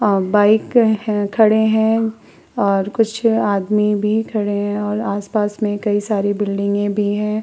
अ bike हैं खड़े हैं और कुछ आदमी भी खड़े हैं और आस-पास में कई सारी बिल्डिंगें भी हैं।